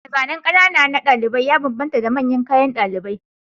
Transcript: Zane-zanen ƙanana na ɗalibi ya bambanta da manyan kayan ɗalibi